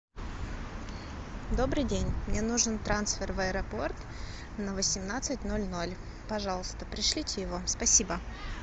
добрый день мне нужен трансфер в аэропорт на восемнадцать ноль ноль пожалуйста пришлите его спасибо